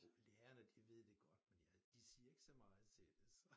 Lærerne de ved det godt men ja de siger ikke så meget til det så